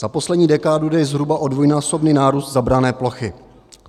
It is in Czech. Za poslední dekádu jde zhruba o dvojnásobný nárůst zabrané plochy.